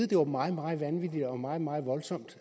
det var meget meget vanvittigt og meget meget voldsomt